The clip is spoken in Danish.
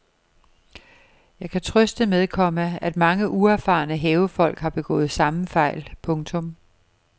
Jeg kan trøste med, komma at mange uerfarne havefolk har begået samme fejl. punktum